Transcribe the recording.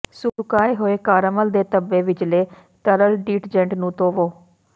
ਸੁਕਾਏ ਹੋਏ ਕਾਰਾਮਲ ਦੇ ਧੱਬੇ ਵਿਚਲੇ ਤਰਲ ਡੀਟਜੈਂਟ ਨੂੰ ਧੋਵੋ